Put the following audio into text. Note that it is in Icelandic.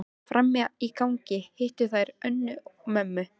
Frammi í gangi hittu þær Önnu, mömmu